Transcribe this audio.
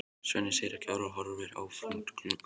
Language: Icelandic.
Svenni segir ekki orð og horfir áfram út um gluggann.